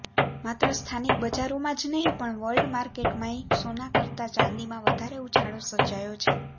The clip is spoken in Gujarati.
માત્ર સ્થાનિક બજારોમાં જ નહીં પણ વર્લ્ડ માર્કેટમાંય સોના કરતા ચાંદીમાં વધારે ઉછાળો સર્જાયો છે